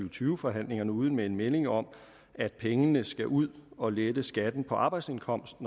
og tyve forhandlingerne ude med en melding om at pengene skal ud og lette skatten på arbejdsindkomst